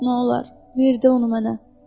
Nolar, ver də onu mənə.